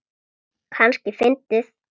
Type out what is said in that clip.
Kannski fyndið.